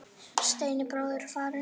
Steini bróðir er farinn.